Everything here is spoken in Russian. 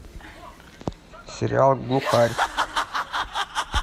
сериал глухарь